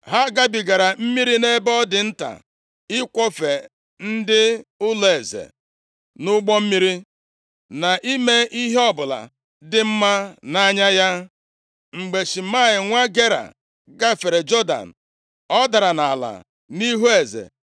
Ha gabigara mmiri nʼebe ọ dị nta ịkwọfe ndị ụlọeze nʼụgbọ mmiri, na ime ihe ọbụla dị mma nʼanya ya. Mgbe Shimei nwa Gera gafere Jọdan, ọ dara nʼala nʼihu eze,